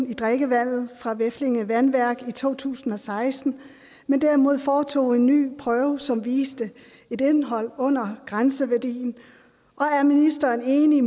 i drikkevandet fra veflinge vandværk i to tusind og seksten men derimod foretog en ny prøve som viste et indhold under grænseværdien og er ministeren enig